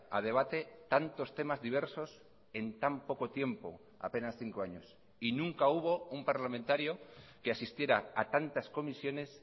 a debate tantos temas diversos en tan poco tiempo apenas cinco años y nunca hubo un parlamentario que asistiera a tantas comisiones